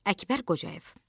Əkbər Qocayev.